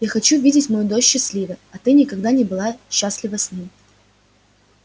я хочу видеть мою дочь счастливой а ты никогда не была бы счастлива с ним